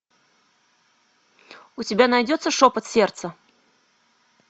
у тебя найдется шепот сердца